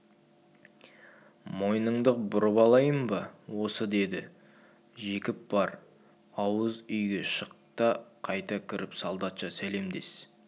мойныңды бұрап алайын ба осы деді жекіп бар ауыз үйге шық та қайта кіріп солдатша сәлемдес